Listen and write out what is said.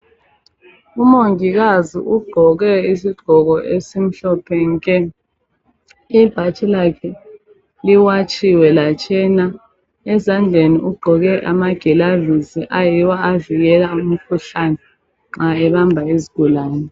Umongikazi ugqoke isigqoko esimhlophe nke ibhatshi lakhe liwatshiwe latshena ezandleni ugqoke amakilavisi ayiwo avikela umkhuhlane nxa ebamba izigulani.